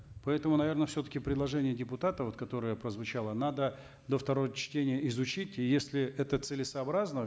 поэтому наверно все таки предложение депутатов вот которое прозвучало надо до второго чтения изучить и если это целесообразно